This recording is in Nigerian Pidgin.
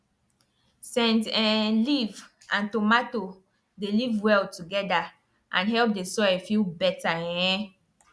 scent um leaf and tomato dey live well together and help the soil feel better um